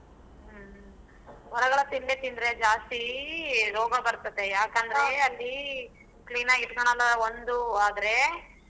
ಹೊರಗಡೆ ತಿಂಡಿ ತಿಂದ್ರೆ ಜಾಸ್ತಿ ರೋಗ ಬರ್ತದೆ ಯಾಕಂದ್ರೆ ಅಲ್ಲಿ clean ಆಗಿ ಇಟ್ಕೊಣಲ್ಲಾ ಒಂದು ಆದ್ರೆ.